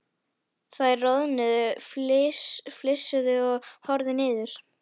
Þær roðnuðu, flissuðu og horfðu niður.